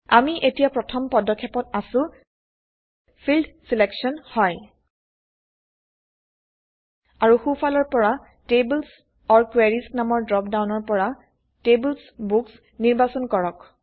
আমি এতিয়া প্ৰথম পদক্ষেপত আছো - ফিল্ড ছিলেকশ্যন হয় আৰু সো ফালৰ পৰা টেবলছ অৰ কোয়াৰিজ নামৰ ড্ৰপ ডাউনৰ পৰা TablesBooks নিৰ্বাচন কৰক